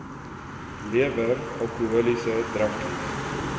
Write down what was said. lewer alkoholiese drankies